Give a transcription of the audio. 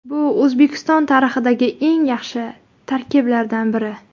Bu O‘zbekiston tarixidagi eng yaxshi tarkiblardan biri.